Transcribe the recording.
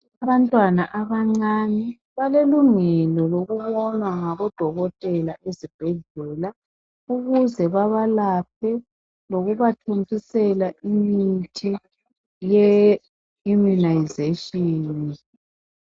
Abantwana abancane balelungelo lokubonwa ngabodokotela ezibhedlela ukuze babalaphe lokubathontisela imithi ye "immunization".